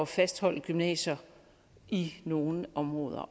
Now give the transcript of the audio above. fastholde gymnasier i nogle områder